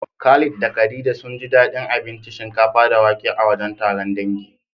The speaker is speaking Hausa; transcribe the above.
Khalid da khadija sunji daɗin abinci shinkafa da wake a wajen taron dangi.